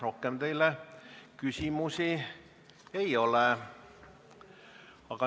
Rohkem teile küsimusi ei ole.